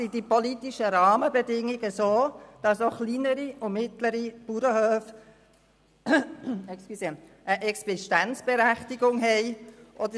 Sind die politischen Rahmenbedingungen so ausgestaltet, dass auch kleinere und mittlere Bauernhöfe eine Existenzberechtigung haben?